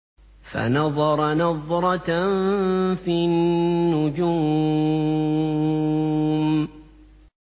فَنَظَرَ نَظْرَةً فِي النُّجُومِ